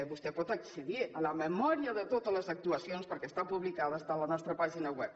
vostè pot accedir a la memòria de totes les actuacions perquè està publicada està a la nostra pàgina web